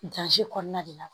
kɔnɔna de la